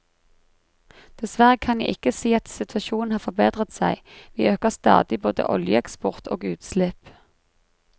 Dessverre kan jeg ikke si at situasjonen har forbedret seg, vi øker stadig både oljeeksport og utslipp.